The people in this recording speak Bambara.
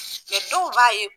Mɛ dɔw b'a ye